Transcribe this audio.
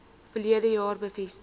verlede jaar bevestig